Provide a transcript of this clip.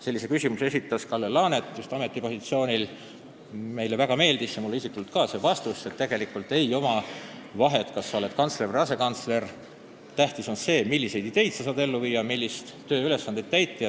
Meile kõigile ja ka mulle isiklikult meeldis väga vastus, et tegelikult ei ole vahet, kas sa oled kantsler või asekantsler, tähtis on see, milliseid ideid sa saad ellu viia ja missuguseid tööülesandeid täita.